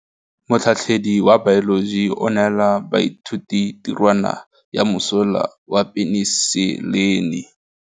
Motlhatlhaledi wa baeloji o neela baithuti tirwana ya mosola wa peniselene.